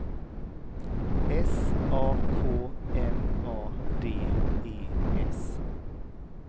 S A K N A D E S